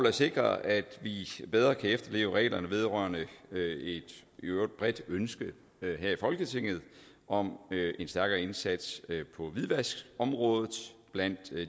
at sikre at vi bedre kan efterleve reglerne vedrørende et i øvrigt bredt ønske her i folketinget om en stærkere indsats på hvidvaskområdet blandt